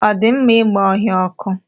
Ọ dị mma ịgba ọhịa ọkụ?